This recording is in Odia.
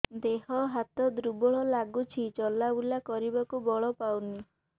ଦେହ ହାତ ଦୁର୍ବଳ ଲାଗୁଛି ଚଲାବୁଲା କରିବାକୁ ବଳ ପାଉନି